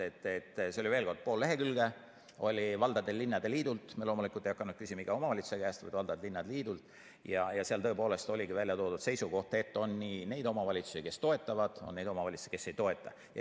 Veel kord: see oli pool lehekülge valdade ja linnade liidult – me loomulikult ei hakanud küsima iga omavalitsuse käest, vaid küsisime ainult valdade ja linnade liidult – ja seal tõepoolest olidki välja toodud seisukohad, et on nii neid omavalitsusi, kes toetavad, kui ka neid omavalitsusi, kes ei toeta.